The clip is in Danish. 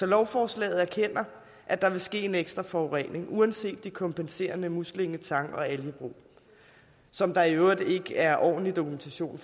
lovforslaget at der vil ske en ekstra forurening uanset de kompenserende muslinge tang og algebrug som der i øvrigt ikke er ordentlig dokumentation